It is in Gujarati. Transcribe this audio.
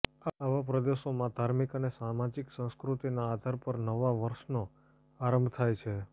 આવા પ્રદેશોમાં ધાર્મિક અને સામાજિક સંસ્કૃતિના આધાર પર નવા વર્ષનો આરંભ થાય છે